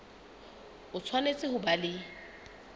o tshwanetse ho ba le